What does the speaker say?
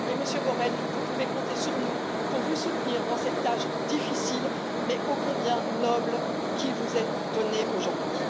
Monsieur Borrell, vous pouvez compter sur nous pour vous soutenir dans cette tâche difficile mais ô combien noble qui vous est donnée aujourd'hui.